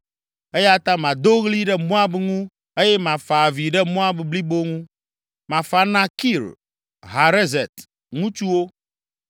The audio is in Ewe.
Eya ta mado ɣli ɖe Moab ŋu eye mafa avi ɖe Moab blibo ŋu. Mefa na Kir Hareset ŋutsuwo.